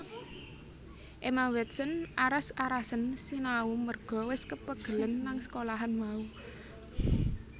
Emma Watson aras arasen sinau merga wes kepegelen nang sekolahan mau